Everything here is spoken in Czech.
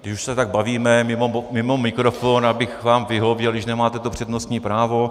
Když už se tak bavíme mimo mikrofon, abych vám vyhověl, když nemáte to přednostní právo -